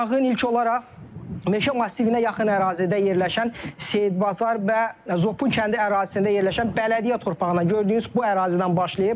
Yanğın ilk olaraq meşə massivinə yaxın ərazidə yerləşən Seyidbazar və Zopun kəndi ərazisində yerləşən bələdiyyə torpağına, gördüyünüz bu ərazidən başlayıb.